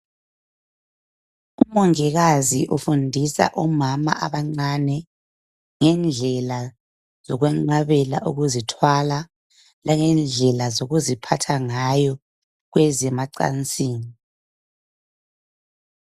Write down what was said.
Umongikazi ufundisa omama abancane ngendlela zokwenqabela ukuzithwala langendlela zokuziphatha ngayo kwezemacansini .